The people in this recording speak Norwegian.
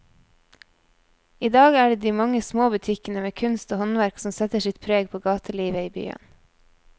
I dag er det de mange små butikkene med kunst og håndverk som setter sitt preg på gatelivet i byen.